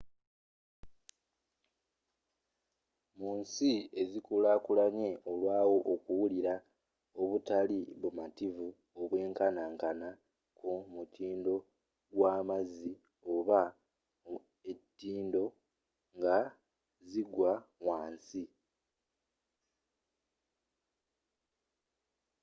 mu nsi e'zikulaakulana olwawo okuwulira obutali bumativu obwenkanankana ku mutindo gwa mazzi oba entindo nga zigwa wansi